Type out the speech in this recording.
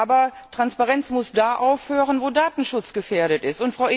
Aber Transparenz muss da aufhören, wo Datenschutz gefährdet ist.